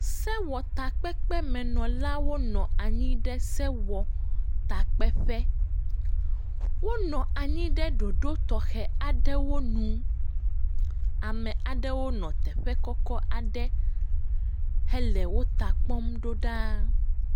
Sewɔtakpekpemenɔlawo nɔ anyi ɖe sewɔtakpeƒe, wonɔ anyi ɖe ɖoɖo tɔxɛ aɖewo nu, ame aɖewo nɔ teƒe kɔkɔ aɖe hele wo ta kpɔm ɖoɖaa.